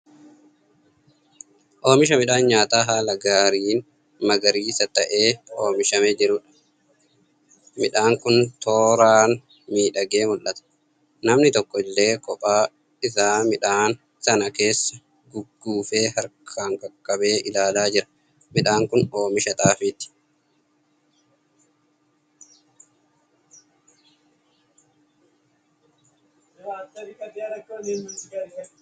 Oomisha midhaan nyaataa haala gaariin magariisa ta'ee oomishamee jiruudha. Midhaan kun tooraan miidhagee mul'ata. Namni tokko illee qophaa isaa midhaan sana keessa gugguufee harkaan qaqqabee ilaalaa jira. Midhaan kun oomisha xaafiiti.